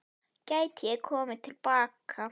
Gæti ég komið til baka?